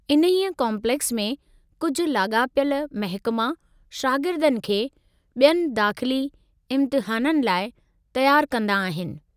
इन्हीअ काॅम्प्लेक्स में कुझु लाॻापियलु महिकमा शागिर्दनि खे बि॒यनि दाख़िली इम्तिहाननि लाइ तयारु कंदा आहिनि।